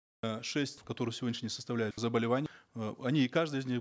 э шесть которые на сегодняшний день составляют заболевания э они каждый из них